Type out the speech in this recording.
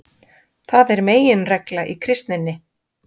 Það er meginregla í kristninni.